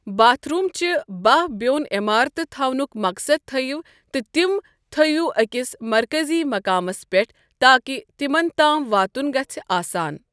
Bath room چہِ باہ بیوٚن عِمارتہٕ تھونُک مقصد تھوِو تہٕ تِم تھوِو أکِس مَرکَزِی مقامس پٮ۪ٹھ تاکہِ تِمَن تام واتُن گژھہِ آسان۔